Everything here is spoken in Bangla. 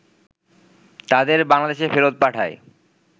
তাদের বাংলাদেশে ফেরত পাঠায়